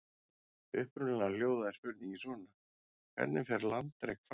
Upprunalega hljóðaði spurningin svona: Hvernig fer landrek fram?